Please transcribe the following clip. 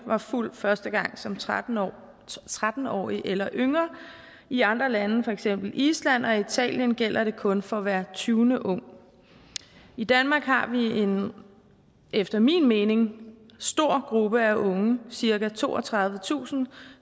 var fuld første gang som tretten årig tretten årig eller yngre i andre lande for eksempel island og italien gælder det kun for hver tyvende ung i danmark har vi en efter min mening stor gruppe af unge cirka toogtredivetusind